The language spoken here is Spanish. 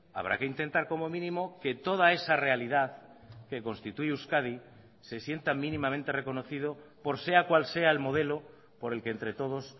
habrá que intentar como mínimo que toda esa realidad que constituye euskadi se sienta mínimamente reconocido por sea cual sea el modelo por el que entre todos